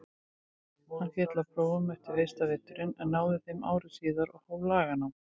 Hann féll á prófum eftir fyrsta veturinn en náði þeim ári síðar og hóf laganám.